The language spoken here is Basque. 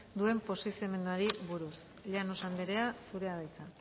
duen posizionamenduari buruz llanos andrea zurea da hitza